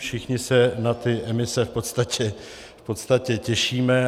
Všichni se na ty emise v podstatě těšíme.